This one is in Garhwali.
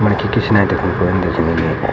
मनखी पिछने दिखणु कोई नि दिखणु लग्युं यांपे।